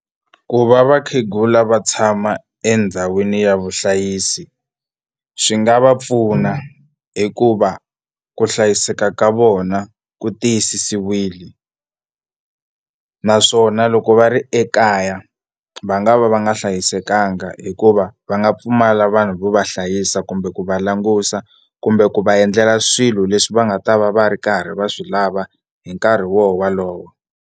Ku va vakhegula va tshama endhawini ya vuhlayisi swi nga va pfuna hikuva ku hlayiseka ka vona ku tiyisisiwile naswona loko va ri ekaya va nga va va nga hlayisekanga hikuva va nga pfumala vanhu vo va hlayisa kumbe ku va langusa kumbe ku va endlela swilo leswi va nga ta va va ri karhi va swi lava hi nkarhi wo walowo.